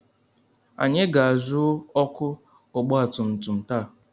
Anyị ga-azụ ọkụ ọgbatumtum taa.